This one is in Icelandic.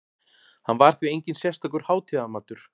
Hann var því enginn sérstakur hátíðamatur.